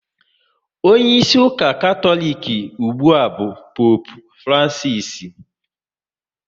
Onyeisi ụka Katọlik ugbua bụ Poopu Francisi